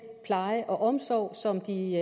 pleje og omsorg som de